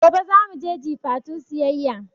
Gobe zamu je Jifatu siyayya